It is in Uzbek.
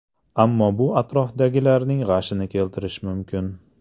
Ammo bu atrofdagilarning g‘ashini keltirish mumkin.